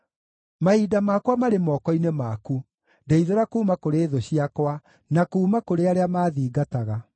Mahinda makwa marĩ moko-inĩ maku; ndeithũra kuuma kũrĩ thũ ciakwa, na kuuma kũrĩ arĩa maathingataga.